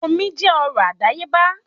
Omi jẹ́ ọrọ̀ àdáyébá